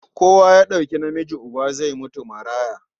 Kowa ya ɗauki namiji uba, zai mutu maraya.